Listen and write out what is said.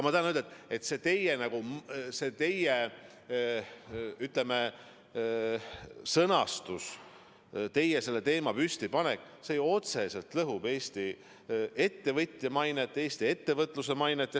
Ma tahan öelda, et see teie sõnastus, selle teema püstitamine otseselt lõhub Eesti ettevõtja mainet, Eesti ettevõtluse mainet.